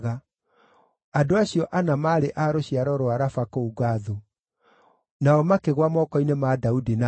Andũ acio ana maarĩ a rũciaro rwa Rafa kũu Gathu nao makĩgũa moko-inĩ ma Daudi na andũ ake.